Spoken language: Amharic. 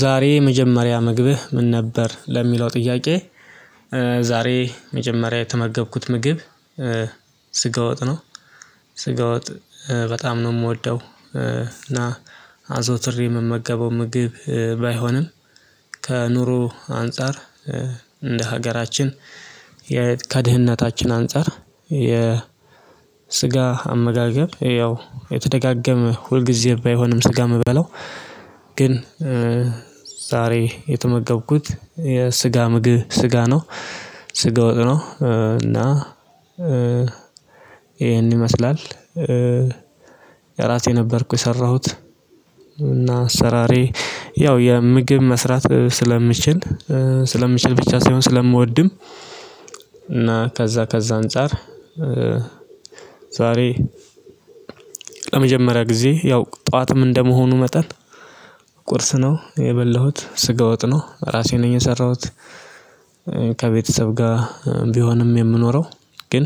ዛሬ የመጀመሪያ ምግብህ ምን ነበር ለሚለው ጥያቄ? ዛሬ መጀመሪያ የተመገብኩት ምግብ ስጋ ወጥ ነው። ስጋ ወጥ በጣም ነው የምወደው እና አዘውትሬ የምመገበው ምግብ ባይሆንም። ከኑሮ አንፃር እንደ ሀገራችን ከድህነታችን አንፃር የስጋ አመጋገብ ያው የተደጋገመ ሁልጊዜ ባይሆንም ስጋ የምበለው ግን ዛሬ የተመገብኩት የስጋ ምግብ ስጋ ነው። ስጋ ወጥ ነው እና ይሄን ይመስላል። የራሴ ነበርኩኝ የሰራሁት እና አሰራሬ ያው የምግብ መስራት ስለምችል ስለምችል ብቻ ሳይሆን ስለምወድም። እና ከዛ ከዛ አንፃር ዛሬ ለመጀመሪያ ጊዜ ያው ጠዋትም እንደመሆኑ መጠን ቁርስ ነው የበላሁት ስጋ ወጥ ነው ራሴ ነኝ የሰራሁት። ከቤተሰብ ጋር ቢሆንም የምኖረው ግን